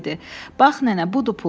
Bax nənə, budur pul.